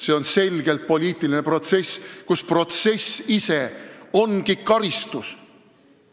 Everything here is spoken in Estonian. See on selgelt poliitiline protsess, kus protsess ise ongi karistus.